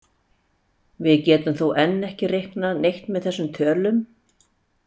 Við getum þó enn ekki reiknað neitt með þessum tölum.